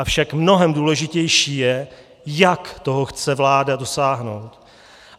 Avšak mnohem důležitější je, jak toho chce vláda dosáhnout.